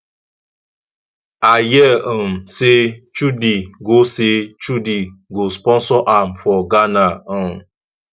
i hear um say chudi go say chudi go sponsor am for ghana um